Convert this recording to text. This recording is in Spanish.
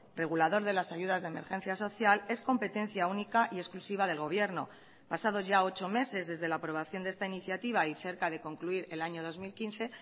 regulador de las ayudas de emergencia social es competencia única y exclusiva del gobierno pasados ya ocho meses desde la aprobación de esta iniciativa y cerca de concluir el año dos mil quince